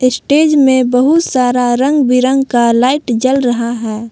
Stage में बहुत सारा रंग बिरंग का लाइट जल रहा है।